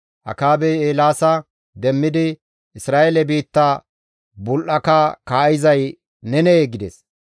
Akaabey Eelaasa demmidi, «Isra7eele biitta bul7aka kaa7izay nenee?» gides.